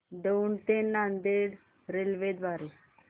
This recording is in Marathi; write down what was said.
दौंड ते नांदेड रेल्वे द्वारे